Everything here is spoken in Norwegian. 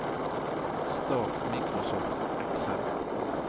start Microsoft Excel